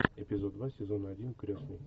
эпизод два сезон один крестный